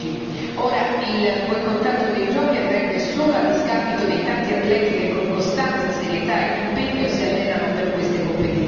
Ora il boicottaggio dei giochi andrebbe solo a discapito dei tanti atleti che con costanza, serietà e impegno si allenano per queste competizioni.